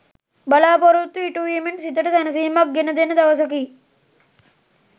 බලා‍පොරොත්තු ඉටුවීමෙන් සිතට සැනසීමක් ගෙන දෙන දවසකි.